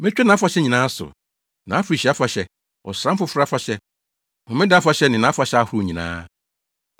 Metwa nʼafahyɛ nyinaa so: nʼafirihyia afahyɛ, Ɔsram Foforo afahyɛ Homeda afahyɛ ne nʼafahyɛ ahorow nyinaa.